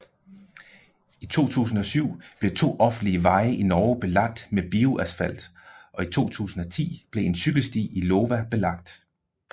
I 2007 blev to offentlige veje i Norge belagt med bioasfalt og i 2010 blev en cykelsti i Iowa belagt